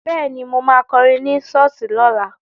Bẹ́ẹ̀ni, mo ma kọrin ní ṣọ́ọ̀ṣì lọ́la